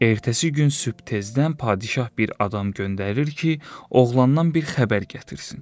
Ertəsi gün sübh tezdən padişah bir adam göndərir ki, oğlandan bir xəbər gətirsin.